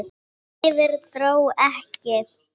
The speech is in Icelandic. Yfir- dró ekki!